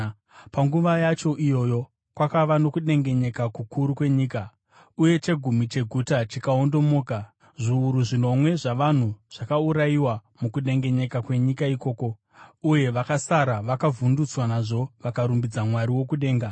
Panguva yacho iyoyo kwakava nokudengenyeka kukuru kwenyika uye chegumi cheguta chikaondomoka. Zviuru zvinomwe zvavanhu zvakaurayiwa mukudengenyeka kwenyika ikoko, uye vakasara vakavhundutswa nazvo vakarumbidza Mwari wokudenga.